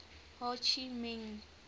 ho chi minh